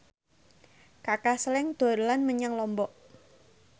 Kaka Slank dolan menyang Lombok